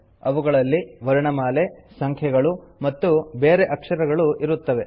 ಅವುಗಳಲ್ಲಿ ವರ್ಣಮಾಲೆ ಸಂಖ್ಯೆಗಳು ಮತ್ತು ಬೇರೆ ಅಕ್ಷರಗಳು ಇರುತ್ತವೆ